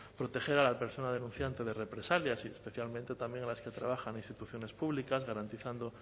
proteger a la persona denunciante de represalias y especialmente también a las que trabajan en instituciones públicas garantizando